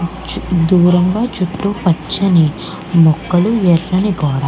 చు దూరంగా చుట్టూ పచ్చని మొక్కలు ఎర్రని గోడా.